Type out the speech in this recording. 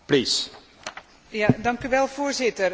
Voorzitter, over de crisisbestrijding.